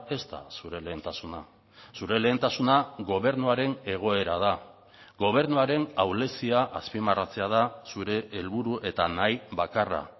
ez da zure lehentasuna zure lehentasuna gobernuaren egoera da gobernuaren ahulezia azpimarratzea da zure helburu eta nahi bakarra